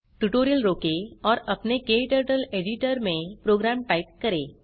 tutorial रोकें और अपने क्टर्टल एडिटर में प्रोग्राम टाइप करें